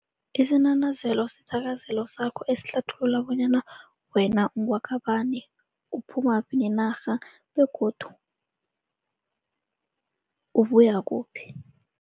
Isinanazelo sithakazelo sakho esihlathulula bonyana wena ungewaka bani, uphumaphi nenarha begodu ubuya kuphi.